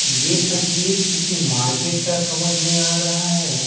ये तस्वीर किसी मार्केट का समझ में आ रहा है।